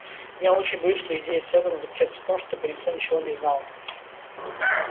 а я очень боюсь что идея сэлдона заключается в том чтобы никто ничего не знал